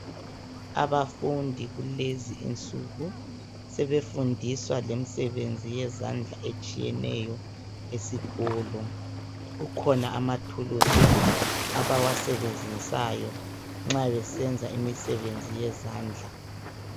abafundi kulezo insuku sebefundiswa ngemisebenzi yezandla etshiyeneyo esikolo kukhona amathulizi abawa sebenzisayo nxa besebenza imisebenzi yezandla